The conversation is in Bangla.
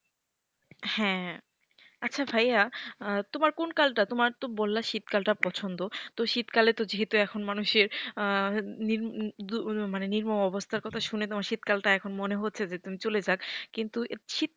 হ্যাঁ আচ্ছা ভাইয়া তোমার কোন কালটা তোমার তো বললে শীতকালটা পছন্দ। তো শীতকালে তো যেহেতু এখন মানুষের নির্মম মানে নির্মম অবস্থার কথা শুনে শীতকালটা তোমার শুনে মনে হচ্ছে যে এখন চলে যাক কিন্তু,